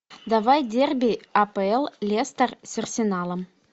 давай дерби апл лестер с арсеналом